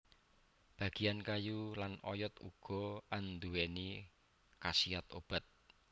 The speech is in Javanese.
Bagian kayu lan oyot uga anduwèni khasiat obat